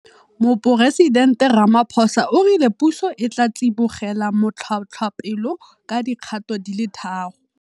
Moporesidente Ramaphosa o rile puso e tla tsibogela matlhotlhapelo ka dikgato di le tharo.